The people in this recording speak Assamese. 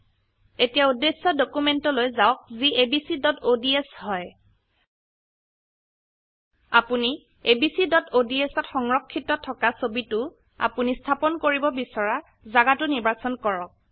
এতিয়া উদ্দেশ্য ডকিউমেন্টলৈ যাওক যি abcods হয় আপোনি abcঅডছ ত সংৰক্ষিত থকা ছবিটো আপোনি স্থাপন কৰিব বিছৰা জাগাতো নিৰ্বাচন কৰক